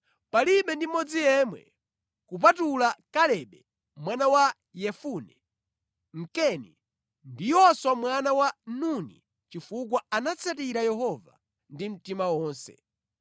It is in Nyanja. Palibe ndi mmodzi yemwe kupatula Kalebe mwana wa Yefune, Mkeni, ndi Yoswa mwana wa Nuni chifukwa anatsatira Yehova ndi mtima wonse.’